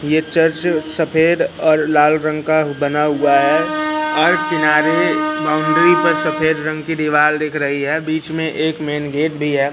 ये चर्च सफेद और लाल रंग का बना हुआ है और किनारे बाउंड्री पर सफेद रंग की दीवाल दिख रही है बीच में एक मेंन गेट भी है।